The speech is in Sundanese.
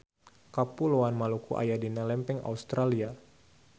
Kapuloan Maluku aya dina lempeng Australia.